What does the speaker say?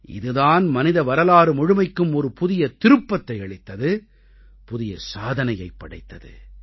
இது தான் மனித வரலாறு முழுமைக்கும் ஒரு புதிய திருப்பத்தை அளித்தது புதிய சாதனையைப் படைத்தது